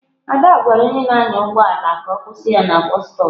Ada gwara onye na-anya ụgbọ ala ka ọ kwụsị na bọstop.